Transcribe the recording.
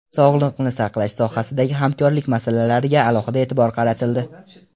Sog‘liqni saqlash sohasidagi hamkorlik masalalariga alohida e’tibor qaratildi.